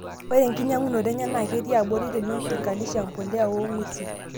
Ore enkinyiang'unoto enyee naa ketii aborii tenilinganishaki empuliya oong'wesin.